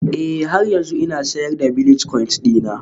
Ee, har yanzu ina sayar da bilitcoins dina